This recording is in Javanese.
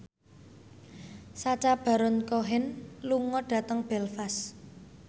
Sacha Baron Cohen lunga dhateng Belfast